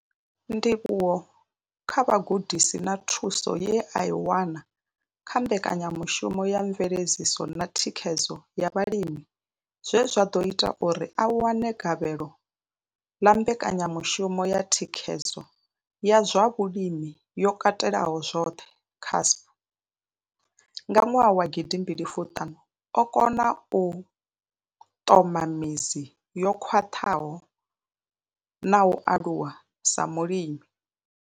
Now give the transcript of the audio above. Ndivhuwo kha vhugudisi na thuso ye a i wana kha mbekanyamushumo ya mveledziso na thikhedzo ya vhalimi zwe zwa ḓo ita uri a wane gavhelo ḽa mbekanyamushumo ya thikhedzo ya zwa vhulimi yo katelaho zwoṱhe CASP nga nwaha wa gidi mbili fumi ṱhanu, o kona u ṱoka midzi yo khwaṱhaho na u aluwa sa mulimi.